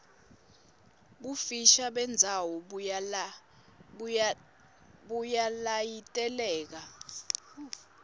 bufisha bendzawo buyalayiteleka